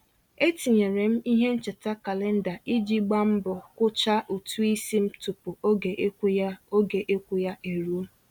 E tinyere m ihe ncheta kalenda iji gba mbọ kwucha ụtụisi m tụpụ oge ịkwụ ya oge ịkwụ ya e ruo.